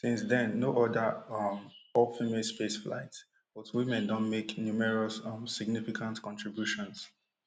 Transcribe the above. no oda um all female spaceflights but women don make numerous um significant contributions